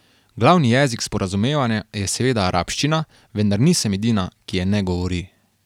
Glavni jezik sporazumevanja je seveda arabščina, vendar nisem edina, ki je ne govori.